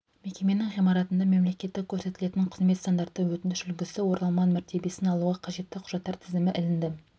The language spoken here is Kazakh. мекеменің ғимаратында мемлекеттік көрсетілетін қызмет стандарты өтініш үлгісі оралман мәртебесін алуға қажетті құжаттар тізімі ілінді